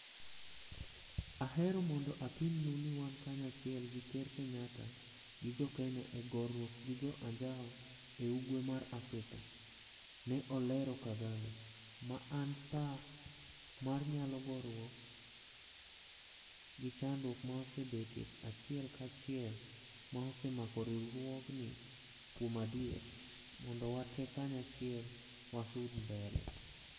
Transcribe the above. ahero mondo apim nu ni wan kanyachiel gi ker Kenyatta gi jo kenya e goruok gi jo anjao e ugwe mar Afrika, ne olero Kagame, ma en saa mar nyalo gorwuok gi chandruok ma osebetie achiel ka chiel ma osemako riwruogni kuom adier. mondo watee kanyachiel wasud mbele.